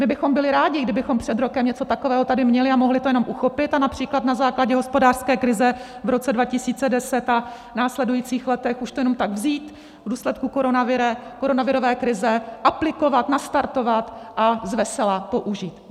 My bychom byli rádi, kdybychom před rokem něco takového tady měli a mohli to jenom uchopit, například na základě hospodářské krize v roce 2010, a v následujících letech už to jenom tak vzít v důsledku koronavirové krize, aplikovat, nastartovat a zvesela použít.